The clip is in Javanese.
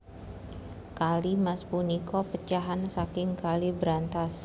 Kali Mas punika pecahan saking Kali Brantas